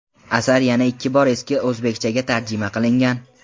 Asar yana ikki bor eski o‘zbekchaga tarjima qilingan.